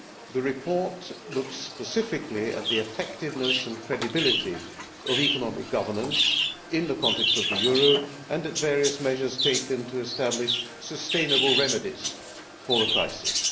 The report looks specifically at the effectiveness and credibility of economic governance in the context of the euro and various measures taken to establish sustainable remedies for the crisis.